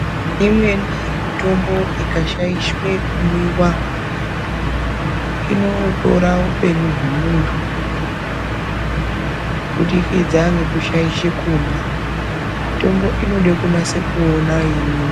Imweni mitombo ikashaishwe kumwiva inotora upenyu hwemuntu. Kubudikidza ngekushaishe kumwa mitombo inode kunyase kuona yeimwiva.